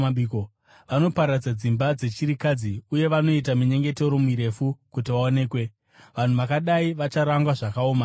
Vanoparadza dzimba dzechirikadzi uye vanoita minyengetero mirefu, kuti vaonekwe. Vanhu vakadai vacharangwa zvakaomarara kwazvo.”